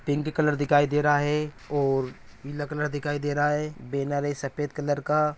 pink colour दिखाई दे रहा है और नीला कलर दिखाई दे रहा है बेनर है सफेद कलर का---